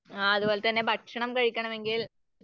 ആഹ് അതുപോലെ ഭക്ഷണം കഴിക്കണമെങ്കിൽ